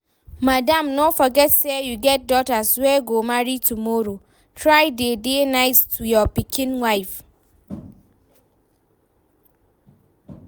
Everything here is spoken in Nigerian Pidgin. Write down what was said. Madam, no forget say you get daughters wey go marry tomorrow, try dey dey nice to your pikin wife